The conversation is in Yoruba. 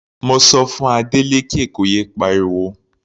Mo sọ fún Adeleke kó yé pariwo.